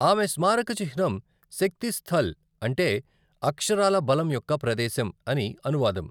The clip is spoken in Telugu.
ఆమె స్మారక చిహ్నం శక్తి స్థల్, అంటే అక్షరాల బలం యొక్క ప్రదేశం అని అనువాదం.